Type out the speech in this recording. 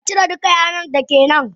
Acire duka yanar dake nan!